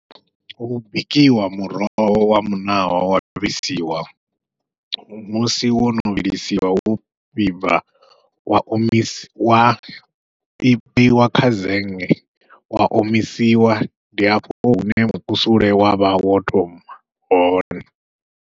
Hu bikiwa muroho wa muṋawa wa vhilisiwa, musi wono vhilisiwa wo vhibva wa omisiwa wa vheiwa kha zenge wa omisiwa ndi afho hune mukusule wavha wo thoma hone.